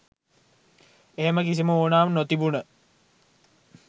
එහෙම කිසිම උවමනාවක් නොතිබුන